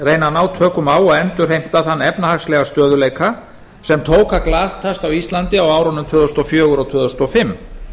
að ná tökum á og endurheimta þann efnahagslega stöðugleika sem tók að glatast á íslandi á árunum tvö þúsund og fjögur og tvö þúsund og fimm